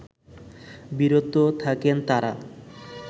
বিরত থাকেন তারা